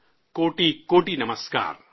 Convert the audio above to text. کوٹی کوٹی لاکھوں، کروڑوں نمسکار